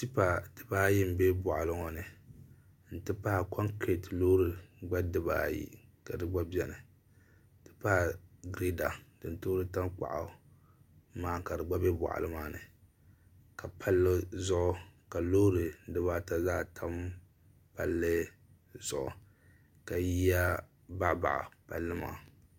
tɛpa di baayi n bɛ buɣili ŋɔ n ti pahi kongiritɛ lori di baayi ka di gba bɛni n tipahi gireda turitangbagu maa ka di gba bɛ boɣi maa ni ka pali zuɣ' ka lori di baata zaa tam pali zuɣ' ka yiyakayi